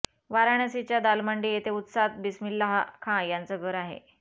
वाराणसीच्या दालमंडी येथे उत्साद बिस्मिल्लाह खाँ यांच घर आहे